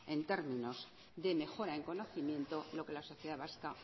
en términos de mejora en conocimiento lo que la sociedad vasca